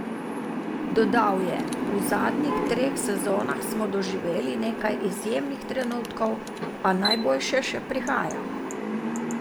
Dodal je: "V zadnjih treh sezonah smo doživeli nekaj izjemnih trenutkov, a najboljše še prihaja.